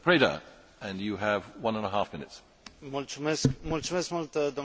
În ultimele săptămâni, în ultimele luni, se vorbește foarte mult despre Africa.